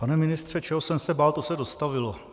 Pane ministře, čeho jsem se bál, to se dostavilo.